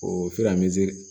O